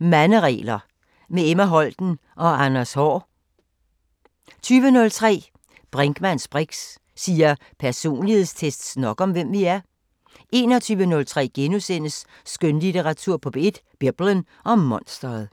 Manderegler – med Emma Holten og Anders Haahr (Afs. 3)* 20:03: Brinkmanns briks: Siger personlighedstests nok om, hvem vi er? 21:03: Skønlitteratur på P1: Biblen og monstret